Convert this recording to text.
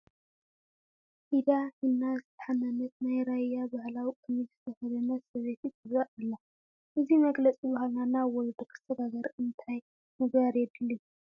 ኢዳ ሒና ዝተሓነነት፣ ናይ ራያ ባህላዊ ቀሚሽ ዝተኸደነት ሰበይቲ ትርአ ኣላ፡፡ እዚ መግለፂ ባህልና ናብ ወለዶ ክሰግር እንታይ ምግባር የድሊ?